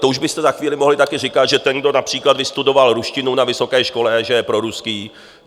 To už byste za chvíli mohli také říkat, že ten, kdo například vystudoval ruštinu na vysoké škole, že je proruský.